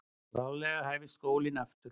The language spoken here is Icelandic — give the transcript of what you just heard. Bráðlega hæfist skólinn aftur.